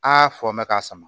Aa fɔ n bɛ ka sama